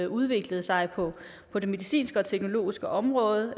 udviklet sig på på det medicinske og teknologiske område